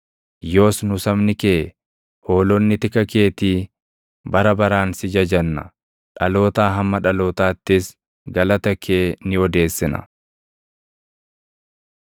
Yoos nu sabni kee, hoolonni tika keetii, bara baraan si jajanna; dhalootaa hamma dhalootaattis, galata kee ni odeessina.